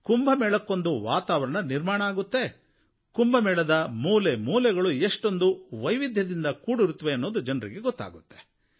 ಕುಂಭಮೇಳಕ್ಕೊಂದು ವಾತಾವರಣ ನಿರ್ಮಾಣ ಆಗುತ್ತೆ ಕುಂಭಮೇಳದ ಮೂಲೆ ಮೂಲೆಗಳು ಎಷ್ಟೊಂದು ವೈವಿಧ್ಯದಿಂದ ಕೂಡಿರುತ್ತವೆ ಅನ್ನೋದು ಜನರಿಗೆ ಗೊತ್ತಾಗುತ್ತೆ